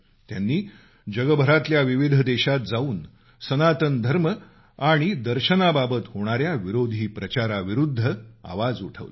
त्यांनी जगभरातल्या विविध देशात जाऊन सनातन धर्म आणि दर्शनाबाबत होणाऱ्या विरोधी प्रचाराविरुद्ध आवाज उठवला